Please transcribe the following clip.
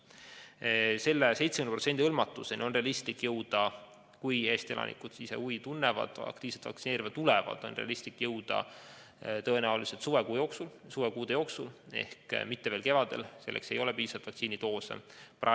70%-lise hõlmatuseni on realistlik jõuda – juhul, kui Eesti elanikud ise huvi tunnevad, aktiivselt vaktsineerima tulevad – tõenäoliselt suvekuudel, mitte veel kevadel, selleks ei ole piisavalt vaktsiinidoose.